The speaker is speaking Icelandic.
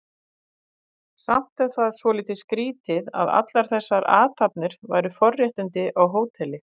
Samt er það svolítið skrýtið að allar þessar athafnir væru forréttindi á hóteli.